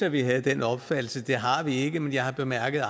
at vi har den opfattelse men det har vi ikke men jeg har bemærket